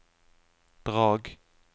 Drag